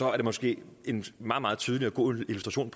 er det måske en meget meget tydelig og god illustration